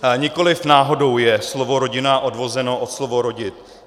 Nikoliv náhodou je slovo rodina odvozeno od slova rodit.